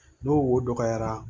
N'o wo dɔgɔyara